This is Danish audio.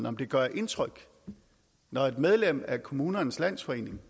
om det gør indtryk når et medlem af kommunernes landsforening